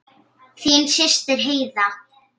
Þín systir Heiða.